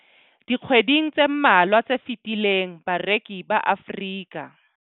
Dikgweding tse mmalwa tse fetileng, bareki ba Afrika.